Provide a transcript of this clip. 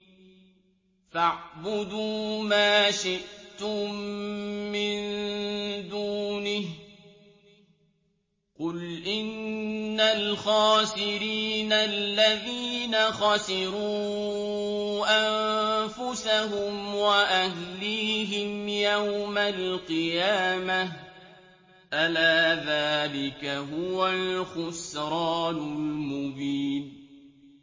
فَاعْبُدُوا مَا شِئْتُم مِّن دُونِهِ ۗ قُلْ إِنَّ الْخَاسِرِينَ الَّذِينَ خَسِرُوا أَنفُسَهُمْ وَأَهْلِيهِمْ يَوْمَ الْقِيَامَةِ ۗ أَلَا ذَٰلِكَ هُوَ الْخُسْرَانُ الْمُبِينُ